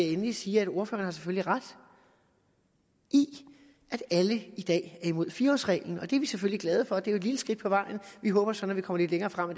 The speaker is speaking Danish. endelig sige at ordføreren selvfølgelig har ret i at alle i dag er imod fire årsreglen og det er vi selvfølgelig glade for det er jo et lille skridt på vejen vi håber så når vi kommer længere frem